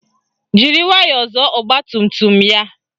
Jiri nwayọọ zọọ ọgbatumtum ya